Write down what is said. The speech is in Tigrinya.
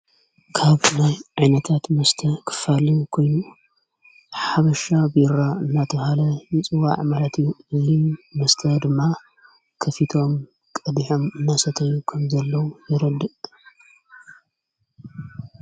ካብናይ ዕነታት ምስተ ኽፋል ኮይኑ ሓብሻ ቢራ እናታ ሃለ ይፅዋ ዕመለቲ ልል ምስተ ድማ ክፊቶም ቀዲሔም ናሰተይ ኸም ዘለዉ የረድእ።